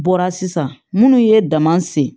Bɔra sisan minnu ye daman sen